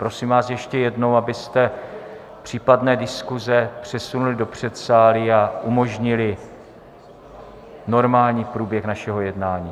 Prosím vás ještě jednou, abyste případné diskuze přesunuli do předsálí a umožnili normální průběh našeho jednání.